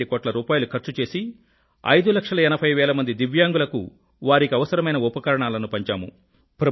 352 కోట్ల రూపాయిలు ఖర్చు చేసి 580000 వేల మంది దివ్యాంగులకు వారికి అవసరమైన ఉపకరణాలను పంచాము